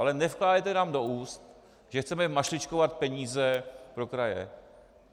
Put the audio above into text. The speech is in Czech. Ale nevkládejte nám do úst, že chceme mašličkovat peníze pro kraje.